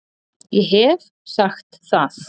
Ég hef sagt það